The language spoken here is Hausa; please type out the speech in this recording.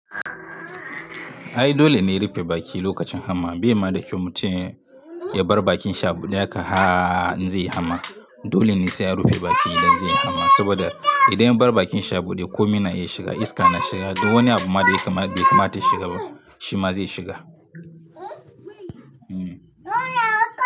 Ai dole ne rufe baki lokacin hamma. Bai ma da kyau mutum ya bar bakin shi a buɗe haka ha in zai yi hamma. Dole ne sai an rufe bakin idan zai yi hama saboda idan ya bar bakin shi a buɗe ko mi na iya shiga, iska na shiga duk wani abu ma da bai kamata ya shiga ba shi ma zai shiga. Hmm.